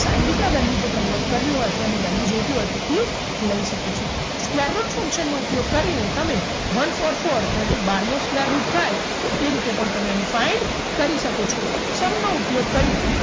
sain theta value જે convert કરવી હોય અથવા એની value જોઈતી હોય તો P લઈ શકો છો square route function નો ઉપયોગ કરીને તમે one four four તો એ બારનો square route થાય તો એ રીતે પણ તમે એને find કરી શકો છો sum નો ઉપયોગ કરી